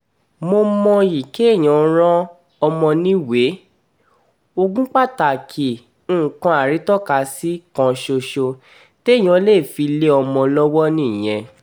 mo mọyì kéèyàn ran ọmọ níwèé ogún pàtàkì nǹkan arítọ́kasí kan ṣoṣo téèyàn lè fi lé ọmọ lọ́wọ́ nìyẹn